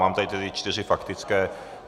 Mám tady tyto čtyři faktické.